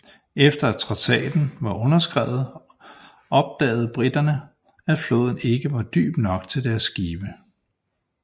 Efter at traktaten var undertegnet opdaget briterne at floden ikke var dyb nok for deres skibe